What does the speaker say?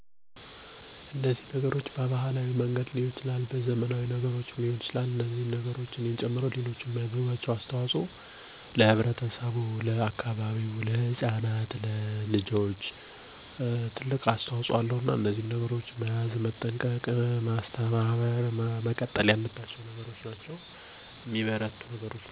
ግለሰቦች (እኔ ጨምሮ) የሚያደርጉት አስተዋጽኦ 1. በቤት ውስጥ: ባህላዊ እሴቶችን በልጆች ወይም ቤተሰብ ዘንድ በመጠቀም ማስተማር 2. በማህበራዊ ሚዲያ: የባህል ጠቀሜታ ላይ ያተኮረ ይዘት በማካፈል ማስተዋወቅ 3. በማህበረሰብ ውስጥ: ባህላዊ ክስተቶችን በመገኘት ወይም በሽልማት ማገዝ